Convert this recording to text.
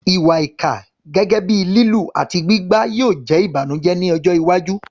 Ìwà ìkà, gẹ́gẹ́ bíi lílù àti gbígbá, yóò jẹ́ ìbànújẹ́ ní ọjọ́ iwájú.